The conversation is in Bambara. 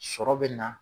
Sɔrɔ bɛ na